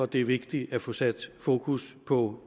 det er vigtigt at få sat fokus på